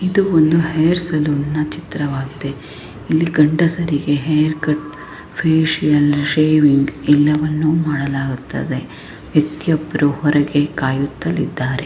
ಇದು ಒಂದು ಹೇರ್ ಸಲೂನ್ನ ಚಿತ್ರವಾಗಿದೆ. ಇಲ್ಲಿ ಗಂಡಸರಿಗೆ ಹೇರ್ ಕಟ್ ಫೇಶಿಯಲ್ ಶೇವಿಂಗ್ ಎಲ್ಲವನ್ನೂ ಮಾಡಲಾಗುತ್ತದೆ ಮತ್ತೊಬ್ಬರು ಹೊರಗೆ ಕಾಯುತ್ತಲಿದ್ದಾರೆ.